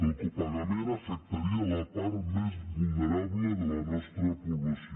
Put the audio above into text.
el copagament afectaria la part més vulnerable de la nostra població